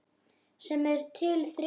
sem er til þriggja ára.